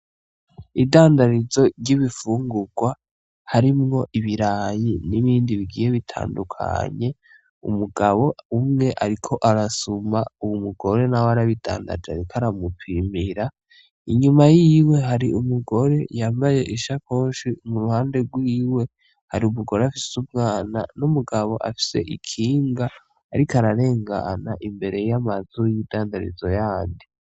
Idandarizo ry'ibifungurwa harimwo ibiraya n'ibindi bigiye bitandukanye. Umugabo umwe ariko arasuma, umugore nawe arabidandaje ariko aramupimira. Inyuma yiwe hari umugore yambaye ishakoshi, mu ruhande rwiwe hari umugore afise umwana n'umugabo afise ikinga ariko ararengana imbere y'amazu y'idandarizo yandi.